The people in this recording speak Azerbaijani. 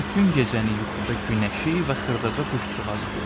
Bütün gecəni yuxuda Günəşi və xırdaca quşçuğazı gördü.